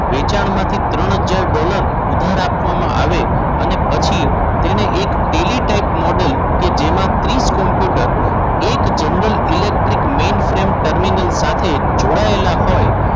વેચાણમાંથી ત્રણ હજાર ડોલર ઉધાર આપવામાં આવે અને પછી તેને એક ટેલી ટાઈપ મોડલ જેમાં ત્રીસ કોમ્પ્યુટર એક general electric main frame terminal સાથે જોડાયેલા હોય.